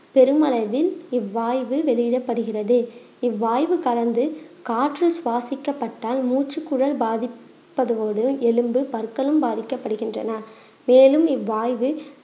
பெருமளவில் இவ்வாய்வு வெளியிடப்படுகிறது இவ்வாய்வு கலந்து காற்றில் சுவாசிக்கப்பட்டால் மூச்சுக்குழல் பாதிப்படுவதோடு எலும்பு, பற்களும் பாதிக்கப்படுகின்றன மேலும் இவ்வாய்வு